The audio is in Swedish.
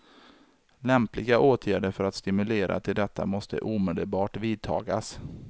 Lämpliga åtgärder för att stimulera till detta måste omedelbart vidtagas.